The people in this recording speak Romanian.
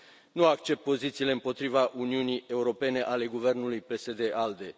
Nu accept pozițiile împotriva Uniunii Europene ale guvernului PSD ALDE.